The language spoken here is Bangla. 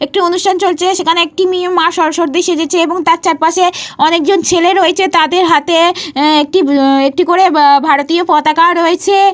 একটি অনুষ্ঠান চলছে। সেখানে একটি মেয়ে মা সরস্বতী সেজেছে। এবং তার চারপাশে অনেক জন ছেলে রয়েছে। তাদের হাতে অব একটি একটি করে ভারতীয় পতাকা রয়েছে।